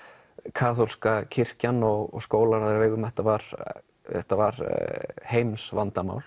kaþólska kirkjan og skólar á þeirra vegum þetta var þetta var